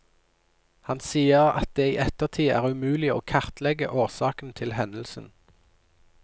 Han sier at det i ettertid er umulig å kartlegge årsakene til hendelsen.